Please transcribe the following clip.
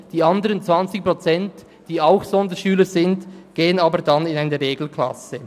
Die anderen 20 Prozent, die ebenfalls Sonderschüler sind, gehen dann aber in eine Regelklasse.